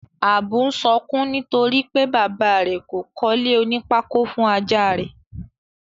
Ábú n sokún nítorípé bàba rè kò kólé oní pákó fun Ajá rẹ́.